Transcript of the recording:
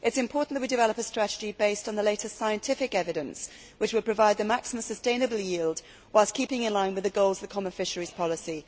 It is important that we develop a strategy based on the latest scientific evidence, which will provide the maximum sustainable yield, whilst keeping in line with the goals of the Common Fisheries Policy.